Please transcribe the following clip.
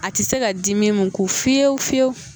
A tɛ se ka dimi mun kun fiyewu fiyewu.